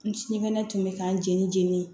N sinikɛnɛ tun bɛ k'an jeni jeni